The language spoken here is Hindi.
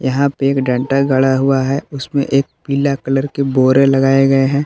यहां पे एक डंडा गढ़ा हुआ है उसमें एक पीला कलर के बोरे लगाए गए हैं।